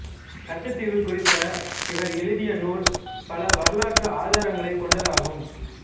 கச்சத்தீவு குறித்த இவர் எழுதிய நூல் பல வரலாற்று ஆதாரங்களைக் கொண்டதாகும்